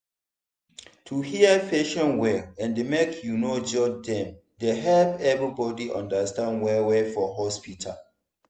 to hear patient well and make you no judge dem dey help everybody understand well-well for hospital.